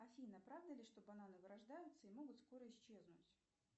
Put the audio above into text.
афина правда ли что бананы вырождаются и могут скоро исчезнуть